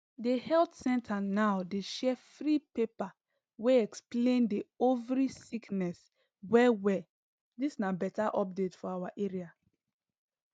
the health center now dey share free paper wey explain the ovary sickness well well dis na beta update for awa area